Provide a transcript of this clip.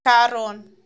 Karon.